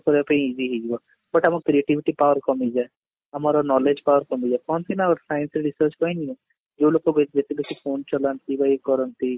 କରିବା ପାଇଁ easy ହେଇଯିବ but ଆମର creativity power କମିଯାଏ, ଆମର knowledge power କମିଯାଏ କହନ୍ତି ନା ଗୋଟେ scientific research କହିନି ଜଉ ଲୋକ ଯତେ ବେଶି phone ଚଲାନ୍ତି ବା ଇଏ କରନ୍ତି